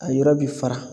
A yɔrɔ bi fara